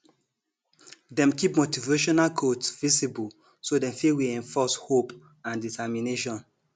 dem keep motivational quotes visible so dem fit reinforce hope and determination